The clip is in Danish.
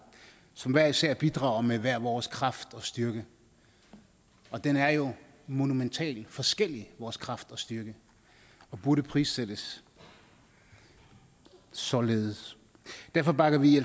som hver især bidrager med hver vores kraft og styrke og den er jo monumentalt forskellig vores kraft og styrke og burde prissættes således derfor bakker vi i